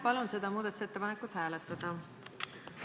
Palun seda muudatusettepanekut hääletada!